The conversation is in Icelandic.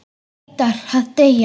Hún neitar að deyja.